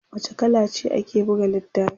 wace kala ce ake buga littafin?